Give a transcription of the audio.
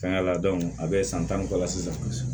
Fɛnkɛ la a bɛ san tan ni kɔ la sisan